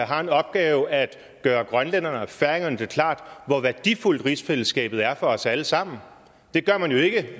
har den opgave at gøre grønlænderne og færingerne det klart hvor værdifuldt rigsfællesskabet er for os alle sammen det gør man jo ikke